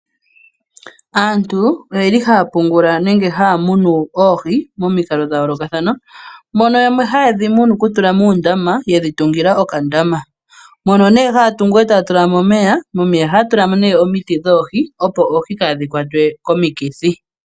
Aantu oyeli haa pungula nenge haa munu oohi momikalo dha yoolokathana, mono yamwe haye dhi munu ku tula moondama ye dhi tungila okandama. Mono nee haa tungu e taya tula mo omeya momeya ohaya tula mo nee omiti dhoohi ,opo oohi kaadhi kwatwe komikithi.